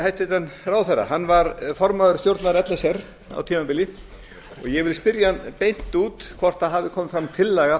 að spyrja hæstvirtan ráðherra hann var formaður stjórnar l s r á tímabili og ég vil spyrja hann beint út hvort það hafi komið fram tillaga